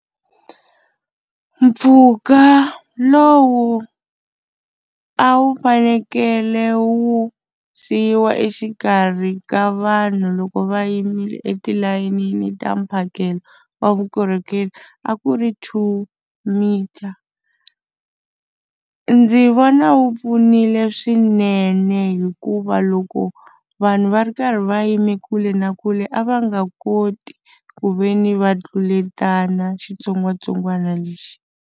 Mpfhuka lowu a wu fanekele wu siyiwa exikarhi ka vanhu loko va yimile etilayenini ta mphakelo wa vukorhokeri a ku ri two metre. Ndzi vona wu pfunile swinene hikuva loko vanhu va ri karhi va yime kule na kule a va nga koti ku ve ni va tluletana xitsongwatsongwana lexi.